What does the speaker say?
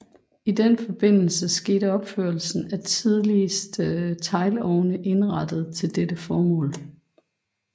I den forbindelse skete opførelse af de tidligste teglovne indrettede til dette formål